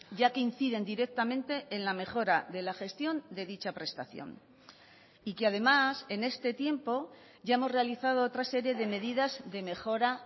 ya que inciden directamente en la mejora de la gestión de dicha prestación y que además en este tiempo ya hemos realizado otra serie de medidas de mejora